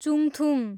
चुङथुङ